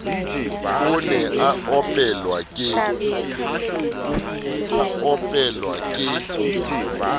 o ne a opelwa ke